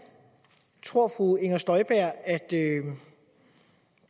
tror fru inger støjberg at